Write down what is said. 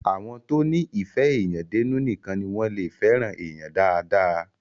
Àwọn tó ní ìfé èèyàn dénú nìkan ní wọ́n lé fẹ́ràn èèyan dáadáa.